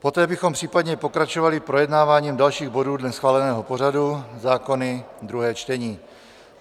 Poté bychom případně pokračovali projednáváním dalších bodů dle schváleného pořadu, zákony - druhé čtení.